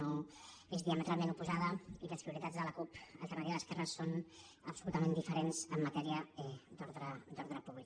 és diametralment oposada i les prioritats de la cup alternativa d’esquerres són absolutament diferents en matèria d’ordre públic